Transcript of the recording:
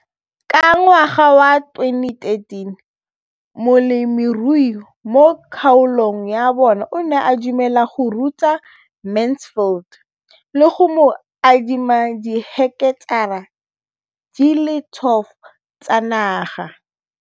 Ka ngwaga wa 2013, molemirui mo kgaolong ya bona o ne a dumela go ruta Mansfield le go mo adima di heketara di le 12 tsa naga.